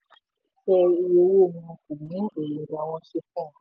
tẹ iye owó wọn kò mú èròǹgbà wọn ṣẹ fún ọ